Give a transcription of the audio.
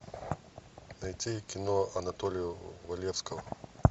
найти кино анатолия валевского